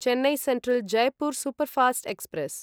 Chennai Central Jaipur superfast express